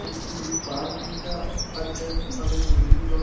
এ কি পার্ক লিখা আছে আগের বিল্ডিং টো।